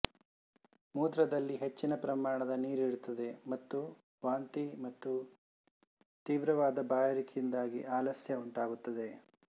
ಮೂತ್ರದಲ್ಲಿ ಹೆಚ್ಚಿನ ಪ್ರಮಾಣದ ನೀರಿರುತ್ತದೆ ಮತ್ತು ವಾಂತಿ ಮತ್ತು ತೀವ್ರವಾದ ಬಾಯಾರಿಕೆಯಿಂದಾಗಿ ಆಲಸ್ಯ ಉಂಟಾಗುತ್ತದೆ